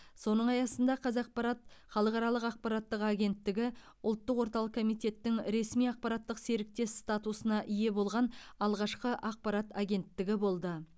соның аясында қазақпарат халықаралық ақпараттық агенттігі ұлттық орталық комитеттің ресми ақпараттық серіктес статусына ие болған алғашқы ақпарат агенттігі болды